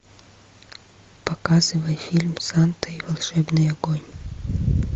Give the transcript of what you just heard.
показывай фильм санта и волшебный огонь